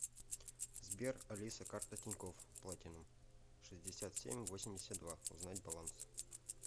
сбер алиса карта тинькофф платинум шестьдесят семь восемьдесят два узнать баланс